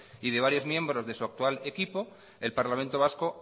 y de varios miembros de su actual equipo el parlamento vasco